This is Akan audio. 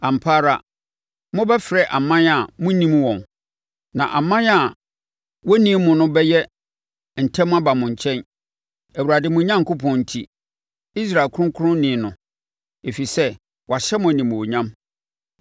Ampa ara mobɛfrɛ aman a monnim wɔn, na aman a wonnim mo no bɛyɛ ntɛm aba mo nkyɛn, Awurade, mo Onyankopɔn enti, Israel Ɔkronkronni no, ɛfiri sɛ wahyɛ mo animuonyam.”